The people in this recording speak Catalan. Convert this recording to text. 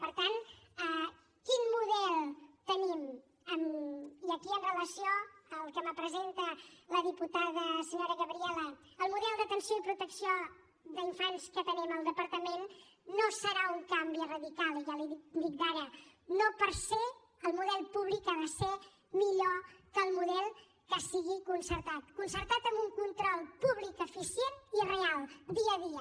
per tant quin model tenim i aquí amb relació al que em presenta la diputada senyora gabriela el model d’atenció i protecció d’infants que tenim al departament no serà un canvi radical ja l’hi dic d’ara no per ser el model públic ha de ser millor que el model que sigui concertat concertat amb un control públic eficient i real dia a dia